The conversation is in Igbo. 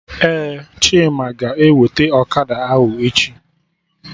Ee, Chima ga-eweta Okada ahụ echi